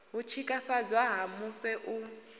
u tshikafhadzwa ha mufhe u